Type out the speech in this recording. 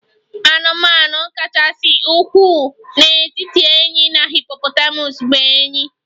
Anụmanụ kachasị ukwuu n'etiti enyí na hippopotamus bụ enyí